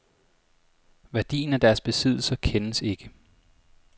Værdien af deres besiddelser kendes ikke.